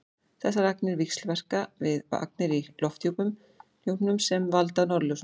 þessar agnir víxlverka við agnir í lofthjúpnum sem valda norðurljósum